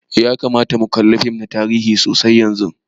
Ya kamata mu kalla fim na tarihi sosai yanzun.